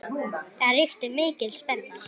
Það ríkti mikil spenna.